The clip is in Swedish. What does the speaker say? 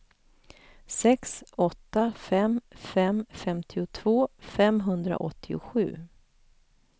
sex åtta fem fem femtiotvå femhundraåttiosju